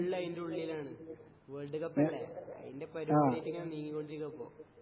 full അയിന്റെ ഉള്ളിലാണ് world കപ്പല്ലേ അതിന്റെ പരിപാടി ആയിട്ട് ഇങ്ങനെ നീങ്ങികൊണ്ടിരിക്കുവാ ഇപ്പോ